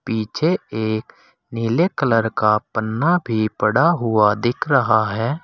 पीछे एक नीले कलर का पन्ना भी पड़ा हुआ दिख रहा है।